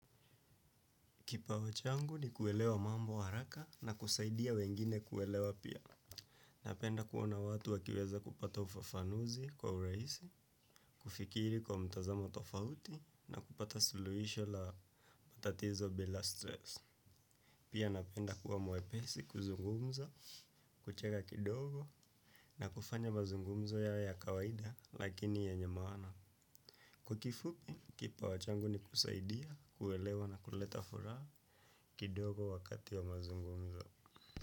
Kipawa changu ni kuelewa mambo haraka na kusaidia wengine kuelewa pia. Napenda kuona watu wakiweza kupata ufafanuzi kwa uraisi, kufikiri kwa mtazamo tofauti na kupata suluhisho la matatizo bila stress. Pia napenda kuwa mwepesi kuzungumza, kucheka kidogo na kufanya mazungumzo yawe ya kawaida lakini yenye maana. Kwa kifupi, kipawa changu ni kusaidia, kuelewa na kuleta furaa kidogo wakati wa mazungumzo.